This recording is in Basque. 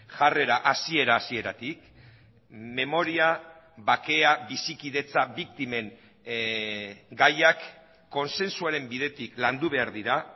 jarrera hasiera hasieratik memoria bakea bizikidetza biktimen gaiak kontsensuaren bidetik landu behar dira